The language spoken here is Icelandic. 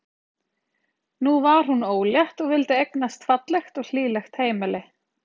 Nú var hún ólétt og vildi eignast fallegt og hlýlegt heimili.